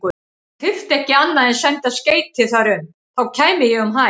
Hann þyrfti ekki annað en senda skeyti þar um, þá kæmi ég um hæl.